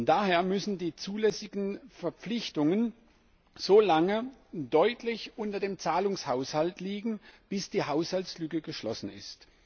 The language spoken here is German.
Daher müssen die zulässigen Verpflichtungen solange deutlich unter dem Zahlungshaushalt liegen, bis die Haushaltslücke geschlossen ist.